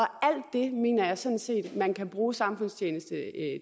alt det mener jeg sådan set man kan bruge samfundstjeneste